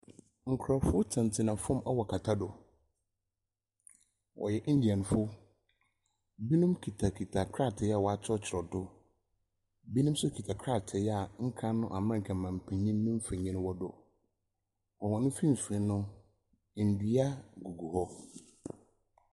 Nkrɔfo tenatena fam wɔ kɛtɛ do. Wɔyɛ Indianfo. Binom kitakita krataa a wɔakyerɛwkyerɛw do. Binom nso kita krataa a nkan America mampenyin ne mfonyin wɔ do. Wɔ wɔn mfinfin no, ndua gugu hɔ.